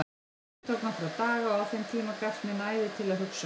Biðin tók nokkra daga og á þeim tíma gafst mér næði til að hugsa.